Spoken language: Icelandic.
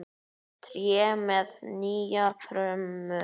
Tré með nýju brumi.